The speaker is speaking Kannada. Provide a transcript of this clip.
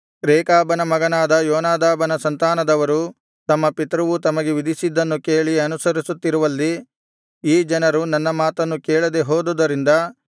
ರೇಕಾಬನ ಮಗನಾದ ಯೋನಾದಾಬನ ಸಂತಾನದವರು ತಮ್ಮ ಪಿತೃವು ತಮಗೆ ವಿಧಿಸಿದ್ದನ್ನು ಕೇಳಿ ಅನುಸರಿಸುತ್ತಿರುವಲ್ಲಿ ಈ ಜನರು ನನ್ನ ಮಾತನ್ನು ಕೇಳದೆ ಹೋದುದರಿಂದ